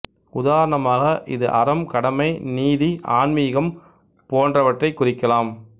உதாரணமாக இது அறம் கடமை நீதி ஆன்மீகம் போன்றவற்றைக் குறிக்கலாம்